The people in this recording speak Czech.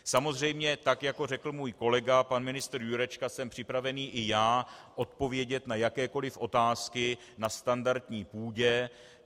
Samozřejmě tak jako řekl můj kolega, pan ministr Jurečka, jsem připravený i já odpovědět na jakékoliv otázky na standardní půdě.